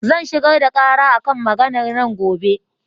Zan shigar da ƙara a kan maganar nan gobe.